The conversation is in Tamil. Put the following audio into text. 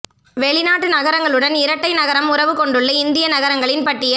வெளிநாட்டு நகரங்களுடன் இரட்டை நகரம் உறவு கொண்டுள்ள இந்திய நகரங்களின் பட்டியல்